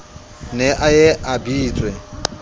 ne a ye a bitswe